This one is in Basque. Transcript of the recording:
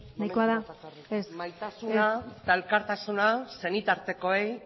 nahiko da momentu bat bakarrik ez ez maitasuna eta elkartasuna senitartekoei